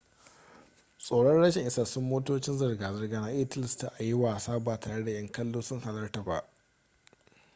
tsoron rashin isassun motocin zirga zirga na iya tilasta a yi wasan ba tare da yan kallo sun halarta ba